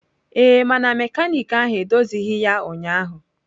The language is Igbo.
Ee, mana mekaniki ahụ edozighị ya ụnyaahụ.